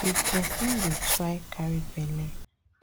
if person dey try carry belle